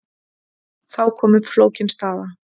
Þá kom upp flókin staða.